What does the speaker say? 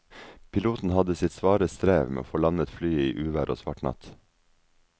Piloten hadde sitt svare strev med å få landet flyet i uvær og svart natt.